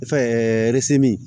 Fɛn